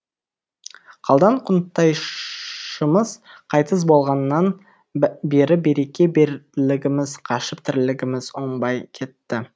қалдан қонтайшымыз қайтыс болғаннан бері береке бірлігіміз қашып тірлігіміз оңбай кетті